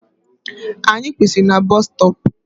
Anyị kwụsịrị na busstop